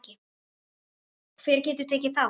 Hver getur tekið þátt?